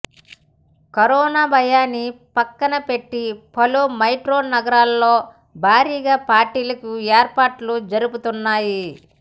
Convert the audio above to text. corona భయాన్ని పక్కనబెట్టి పలు మెట్రో నగరాల్లో భారీగా పార్టీలకు ఏర్పాట్లు జరుగుతున్నాయి